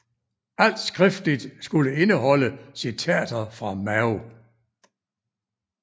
Alt skriftligt skulle indeholde citater fra Mao